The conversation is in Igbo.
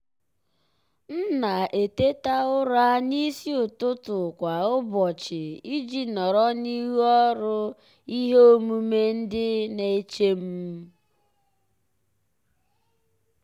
m na-eteta ụra n'isi ụtụtụ kwa ụbọchị iji nọrọ n'ihu ọrụ ihe omume ndị na-eche m.